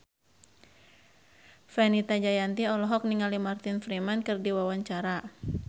Fenita Jayanti olohok ningali Martin Freeman keur diwawancara